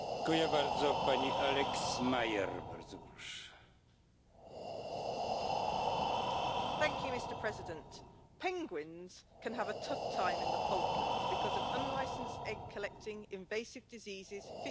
Mr President, penguins can have a tough time in the Falklands because of unlicensed egg collecting, invasive diseases, fishing and getting covered in oil.